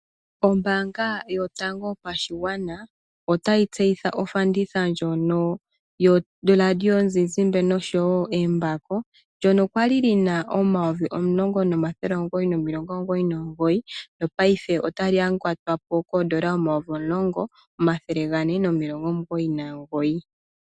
Ombaanga yotango yopashigwana otayi tseyitha ofanditha ndjono yo Radio yomuntu noshowo embako ndono kwali lina oondola omayovi omulongo nomathele omugoyi nomilongo omugoyi nomugoyi, payife otali yangatwapo koondola omayovi omulongo omathele gane nomilongo omugoyi nomugoyi